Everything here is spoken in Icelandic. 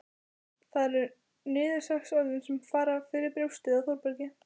En það eru niðurlagsorðin sem fara fyrir brjóstið á Þórbergi